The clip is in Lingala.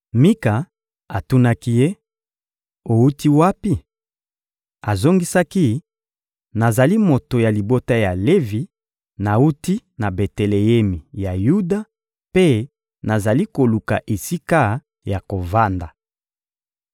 Mika atunaki ye: — Owuti wapi? Azongisaki: — Nazali moto ya libota ya Levi, nawuti na Beteleemi ya Yuda mpe nazali koluka esika ya kovanda.